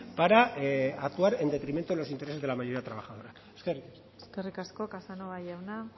para actuar en detrimento de los intereses de la mayoría de los trabajadores eskerrik asko eskerrik asko casanova jauna